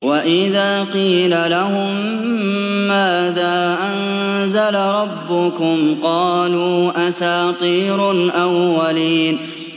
وَإِذَا قِيلَ لَهُم مَّاذَا أَنزَلَ رَبُّكُمْ ۙ قَالُوا أَسَاطِيرُ الْأَوَّلِينَ